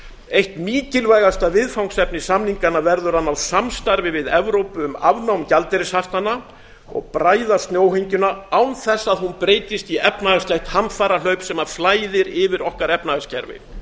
eitt mikilvægasta viðfangsefni samninganna verður að ná samstarfi við evrópu um afnám gjaldeyrishaftanna og bræða snjóhengjuna án þess að hún breytist í efnahagslegt hamfarahlaup sem flæðir yfir okkar efnahagskerfi